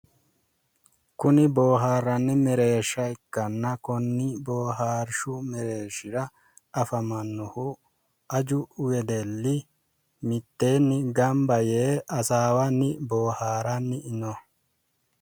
Kuni boohaarranni mereershsha ikkanna konni boohaarshshu mereershira afamannohu aju wedelli mitteenno gamba yee hasaawanni boohaaranni no.